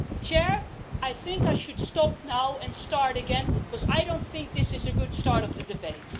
Mr President, I think I should stop now and start again because I don't think this is a good start to the debate.